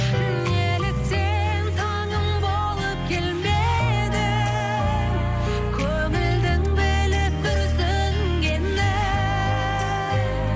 неліктен таңым болып келмедің көңілдің біліп күрсінгенін